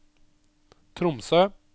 Tromsø